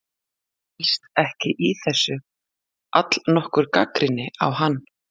Felst ekki í þessu allnokkur gagnrýni á hann?